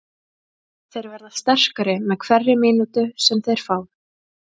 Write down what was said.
Þeir verða sterkari með hverri mínútu sem þeir fá.